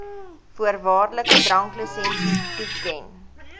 voorwaardelike dranklisensie toeken